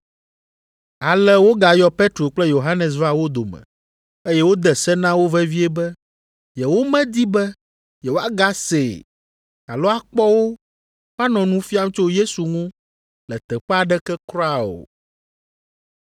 Ale wogayɔ Petro kple Yohanes va wo dome, eye wode se na wo vevie be yewomedi be yewoagasee alo akpɔ wo woanɔ nu fiam tso Yesu ŋu le teƒe aɖeke kura o.